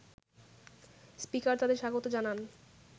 speaker তাদের স্বাগত জানান